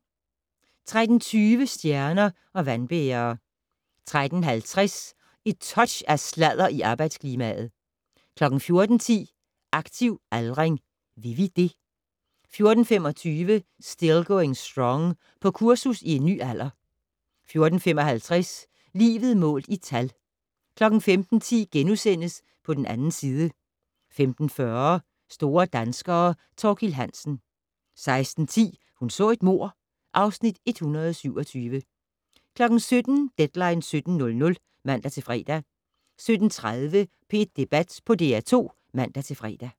13:20: Stjerner og vandbærere 13:50: Et touch af sladder i arbejdsklimaet 14:10: Aktiv aldring. Vil vi det? 14:25: Still Going Strong - På kursus i en ny alder 14:55: Livet målt i tal 15:10: På den 2. side * 15:40: Store danskere - Thorkild Hansen 16:10: Hun så et mord (Afs. 127) 17:00: Deadline 17.00 (man-fre) 17:30: P1 Debat på DR2 (man-fre)